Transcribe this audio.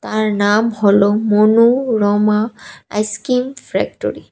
আর নাম হলো Manorama ice cream factory.